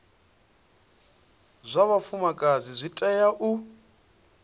zwa vhafumakadzi zwi tea u